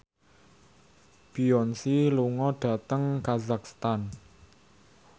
Beyonce lunga dhateng kazakhstan